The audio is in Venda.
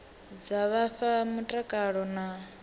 dza vha fha mutakalo na